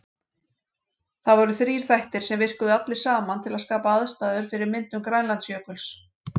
Það voru þrír þættir, sem virkuðu allir saman til að skapa aðstæður fyrir myndun Grænlandsjökuls.